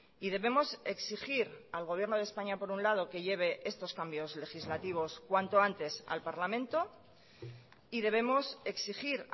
y debemos exigir al gobierno de españa por un lado que lleve estos cambios legislativos cuanto antes al parlamento y debemos exigir